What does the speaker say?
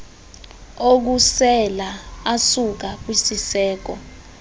okusela asuka kwisiseko